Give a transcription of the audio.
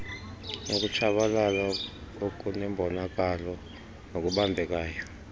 ukutshabalala okunembonakalo nokubambekayo